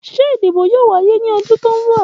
Ṣe idibo yoo waye ni ọdun ti n bọ?